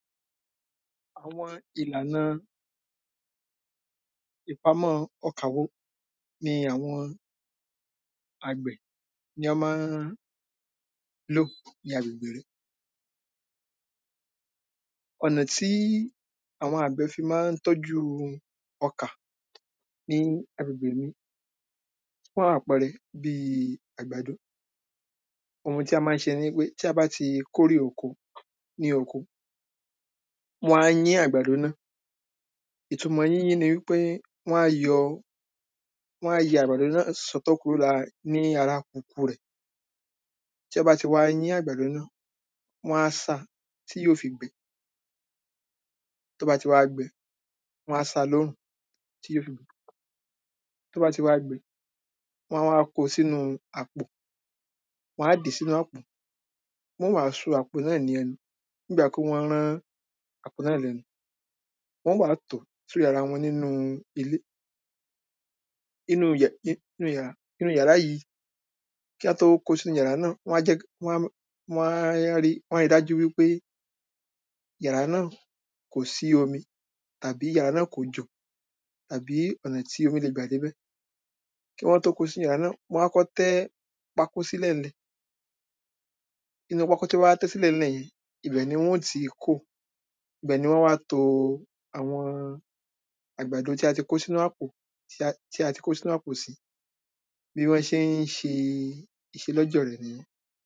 Àwọn ìlàna ìpamọ́ ọkà wo ni àwọn àgbẹ̀ ní án má ń lò ní agbègbè mi? Ò̩nà tí àwọn àgbẹ̀ fí má ń tọ́jú ọkà ní agbègbè mi. Fún àpẹrẹ, bíi àgbàdo. Ohun tí a má ń se ni wípé tí a bá ti kórè oko ní oko, wọ́n á yín àgbàdo náà. Ìtumọ yíyín ni wípé wọ́n á yọ wọ́n á ya àgbàdo sọ́tọ̀ kúrò lára ní ara kùkù rẹ̀. Tí án bá ti wá yín àgbàdo náà, wọ́n á sá a tí yó fi gbẹ. Tó bá ti wá gbẹ, wọ́n á sa lórùn tí yó. Tó bá ti wá gbẹ, wọ́n á wá kó o sínú-un àpò. Wọ́n á dí sínú àpò. Wọ́n ó wá so àpò náà ní ẹnu bígbà pé wọ́n rán àpò náà lẹ́nu. Wọ́n ó wá tòó sórí ara wọn nínú ilé. Inú yẹ̀ i-nú yàrá inú yàrá yí kí á tó ko sínú yàrá náà, wọ́n á jẹ́ wọ́n wọ́n á wọ́n á ri dájú wípé yàrá náà kò sí omi tàbí yàrá náà kò jò àbí ọ̀nà tí omí le gbà débẹ̀. Kí wọ́n tó ko sínú yàrá náà, wọ́n á kọ́ tẹ́ pákó sílẹ̀ ńlẹ̀. Inú pákó tí wọ́n bá wá tẹ́ sílẹ̀ yẹn ibẹ̀ ni wọn ó ti kó o. Ibẹ̀ ni wọ́n á wá to àwọn àgbàdo tí a ti kó sínú àpò tí a ti kó sínú àpò. Bí wọ́n sé ń se ìselọ́jọ̀ rẹ̀ nìyẹn.